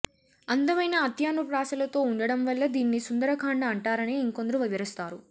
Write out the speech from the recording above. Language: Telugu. అందమైన అంత్యానుప్రాసలతో ఉండడం వల్ల దీన్ని సుందరకాండ అంటారని ఇంకొందరు వివరిస్తారు